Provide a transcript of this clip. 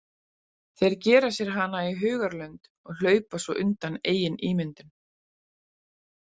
Þeir gera sér hana í hugarlund og hlaupa svo undan eigin ímyndun.